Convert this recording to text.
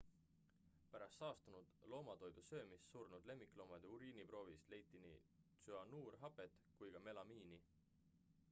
pärast saastunud loomatoidu söömist surnud lemmikloomade uriiniproovist leiti nii tsüanuurhapet kui ka melamiini